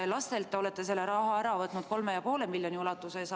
Lastelt te olete raha ära võtnud 3,5 miljoni ulatuses.